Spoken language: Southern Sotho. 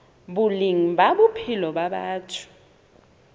boleng ba bophelo ba batho